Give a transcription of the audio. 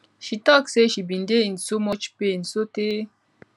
she tok say she bin dey in soo much pain sotay